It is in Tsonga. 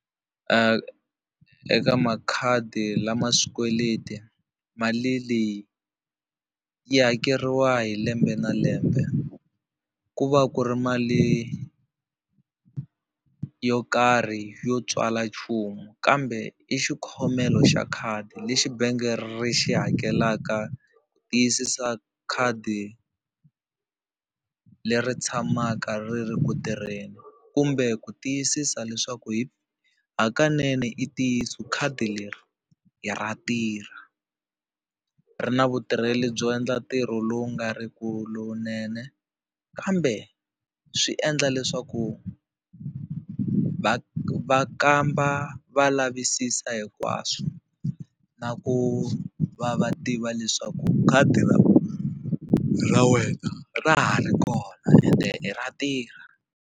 eka makhadi lama swikweleti, mali leyi yi hakeriwa hi lembe na lembe ku va ku ri mali yo karhi yo tswala nchumu kambe i xikhomelo xa khadi lexi benge ri xi hakelaka ku tiyisisa khadi leri tshamaka ri ri ku tirheni, kumbe ku tiyisisa leswaku hakanene i ntiyiso khadi leri ra tirha ri na vutirheli byo endla ntirho lowu nga ri ku lowunene kambe swi endla leswaku va va kamba va lavisisa hinkwaswo na ku va va tiva leswaku khadi ra wena ra ha ri kona ende ra tirha.